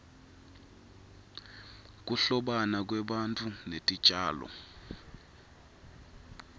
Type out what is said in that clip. kuhlobana kwebantfu netitjalo